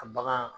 A bagan